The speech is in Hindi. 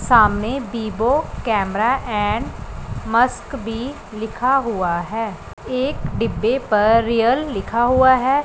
सामने बीबो कैमरा एंड मस्क भी लिखा हुआ है एक डिब्बे पर रियल लिखा हुआ है।